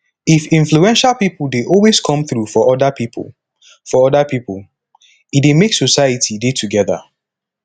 if influential pipo dey always come through for oda pipo for oda pipo e dey make society dey together